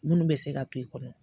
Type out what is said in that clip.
Minnu bɛ se ka to i kɔnɔ